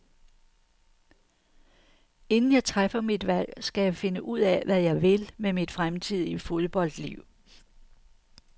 Inden jeg træffer mit valg, skal jeg finde ud af, hvad jeg vil med mit fremtidige fodboldliv.